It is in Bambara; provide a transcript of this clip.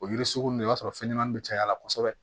O yiri sugunin i b'a sɔrɔ fɛn ɲɛnamani bɛ caya kosɛbɛ